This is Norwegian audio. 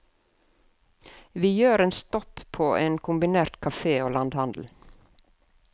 Vi gjør en stopp på en kombinert kafé og landhandel.